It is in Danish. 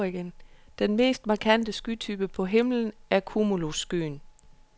Den mest markante skytype på himlen er cumulusskyen.